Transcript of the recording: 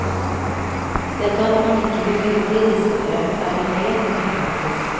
Dette at man ikke vil legge disse frem er en helt ny praksis.